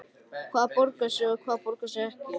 Hvað borgar sig og hvað borgar sig ekki?